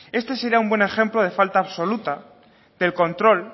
este será un buen ejemplo de falta absoluta del control